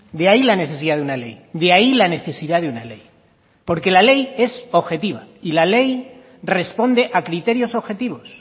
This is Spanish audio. de ahí la necesidad de una ley de ahí la necesidad de una ley porque la ley es objetiva y la ley responde a criterios objetivos